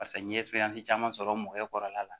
Paseke n'i ye caman sɔrɔ mɔgɔ kɔrɔla la